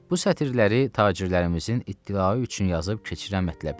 Bu sətirləri tacirlərimizin ittilağı üçün yazıb keçirəm mətləbə.